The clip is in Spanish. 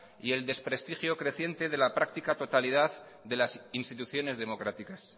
y el desprestigio creciente de la práctica totalidad de las instituciones democráticas